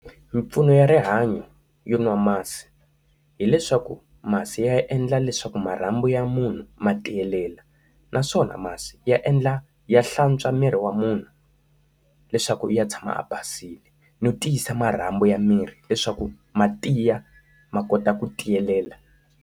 Mimpfuno ya rihanyo yo nwa masi hileswaku masi ya endla leswaku marhambu ya munhu ma tiyelela, naswona masi ya endla ya hlantswa miri wa munhu leswaku u ya tshama ya basile. No tiyisa marhambu ya miri leswaku ma tiya ma kota ku tiyelela.